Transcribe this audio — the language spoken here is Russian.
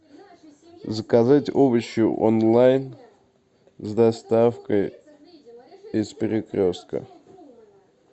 заказать овощи онлайн с доставкой из перекрестка